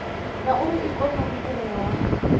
ngauri ikonomi i re hone